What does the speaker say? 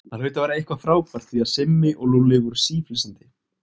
Það hlaut að vera eitthvað frábært því að Simmi og Lúlli voru síflissandi.